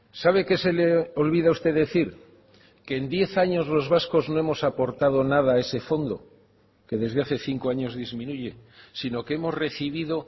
sabe qué se le olvida a usted decir que en diez años los vascos no hemos aportado nada a ese fondo que desde hace cinco años disminuye sino que hemos recibido